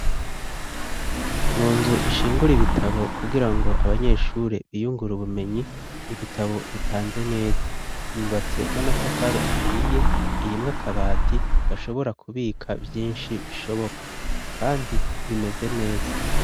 Mu nzu ishingura ibitabo kugira ngo abanyeshure biyungur' ubumenyi ,ibitabo bipanze neza ,yubatse n'amatafari ahiye, irimw'akabati gashobora kubika vyinshi bishoboka ,kandi bimeze neza.